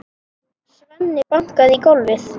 Svenni bankaði í gólfið.